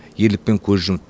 ерлікпен көз жұмды